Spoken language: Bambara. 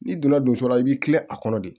N'i donna donso la i b'i kilen a kɔnɔ de